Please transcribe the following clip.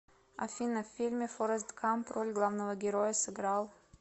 афина в фильме форест гамп роль главного героя сыграл